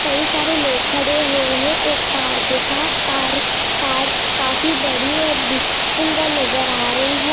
कई सारे लोग खड़े हुए हैं एक कार के साथ कार कार काफी बड़ी और सुंदर नजर आ रही है।